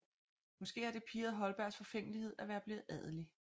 Måske har det pirret Holbergs forfængelighed at være blevet adelig